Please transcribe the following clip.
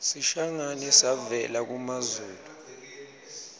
sishangane savela kumazulu